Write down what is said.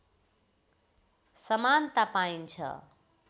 समानता पाइन्छ